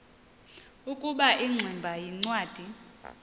ukuba ingximba yincwadi